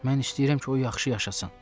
Mən istəyirəm ki, o yaxşı yaşasın.